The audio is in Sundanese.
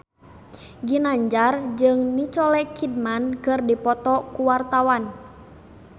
Ginanjar jeung Nicole Kidman keur dipoto ku wartawan